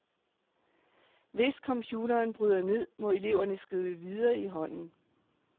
Hvis computeren bryder ned, må eleverne skrive videre i hånden.